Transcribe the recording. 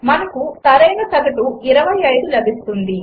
మనకు సరైన సగటు 25 లభిస్తుంది